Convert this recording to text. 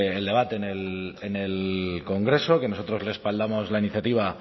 el debate en el congreso que nosotros respaldamos la iniciativa